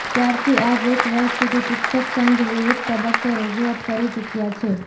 ત્યારથી આજ એક વર્ષ સુધી શિક્ષક સંઘ વિવિધ તબક્કે રજૂઆત કરી ચૂક્યા છે